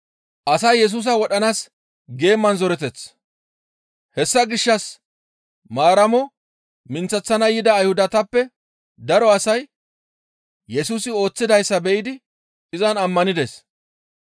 Hessa gishshas Maaramo minththeththana yida Ayhudatappe daro asay Yesusi ooththidayssa be7idi izan ammanides.